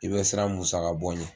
I bɛ siran musaka bɔ ɲɛ.